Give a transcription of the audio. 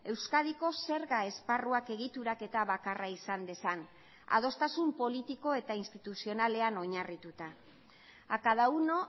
euskadiko zerga esparruak egituraketa bakarra izan dezan adostasun politiko eta instituzionalean oinarrituta a cada uno